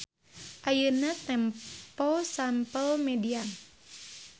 Ayeuna tempo sample median.